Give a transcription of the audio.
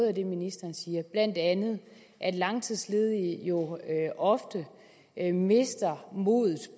af det ministeren siger blandt andet at langtidsledige ofte mister modet